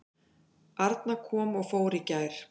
Arna kom og fór í gær.